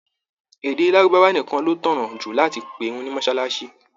Èdè lárúbáwá nìkan ló tọ̀nà jù láti pe ìrun ní mọ́sálásí